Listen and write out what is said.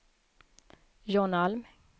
John Alm